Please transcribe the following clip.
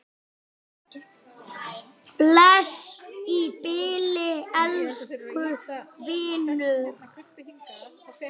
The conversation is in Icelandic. Bless í bili, elsku vinur.